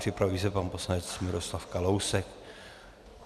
Připraví se pan poslanec Miroslav Kalousek.